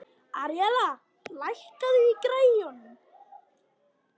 Aríella, lækkaðu í græjunum.